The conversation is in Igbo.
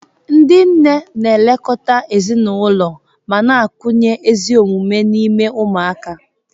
Ndị nne na-elekọta ezinụlọ ma na-akụnye ezi omume n'ime ụmụaka.